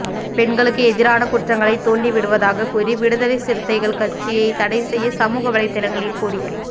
பெண்களுக்கு எதிரான குற்றங்களை தூண்டி விடுவதாக கூறி விடுதலை சிறுத்தைகள் கட்சியை தடை செய்ய சமூக வலைத்தளங்களில் கோரிக்கை